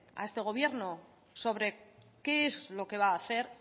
a este gobierno sobre qué es lo que va a hacer